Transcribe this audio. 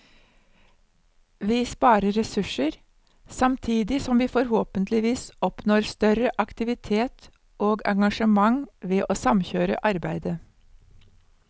Vi sparer ressurser, samtidig som vi forhåpentligvis oppnår større aktivitet og engasjement ved å samkjøre arbeidet.